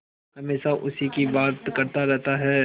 हमेशा उसी की बात करता रहता है